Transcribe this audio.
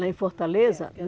Lá em Fortaleza? É